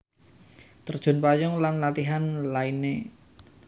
Terjun payung lan latihan lainné